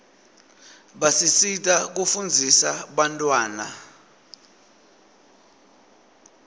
basisita kufundzisa bantawana